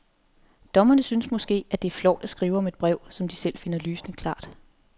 Dommerne synes måske, at det er flovt at skrive om et brev, som de selv finder lysende klart.